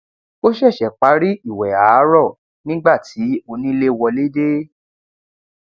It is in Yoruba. ó ṣẹṣẹ parí ìwẹ àárọ nígbà tí onílé wọlé dé